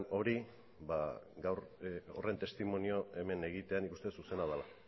hori gaur horren testimonio hemen egitea nik uste zuzena dela